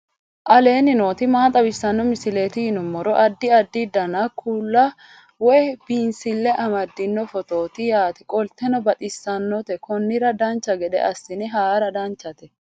aleenni nooti maa xawisanno misileeti yinummoro addi addi dananna kuula woy biinsille amaddino footooti yaate qoltenno baxissannote konnira dancha gede assine haara danchate